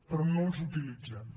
però no els utilitzem